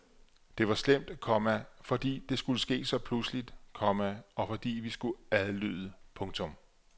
Det var slemt, komma fordi det skulle ske så pludseligt, komma og fordi vi skulle adlyde. punktum